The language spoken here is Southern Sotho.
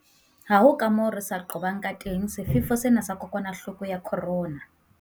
Ha ho kamoo re ka se qobang kateng sefefo sena sa kokwanahloko ya corona.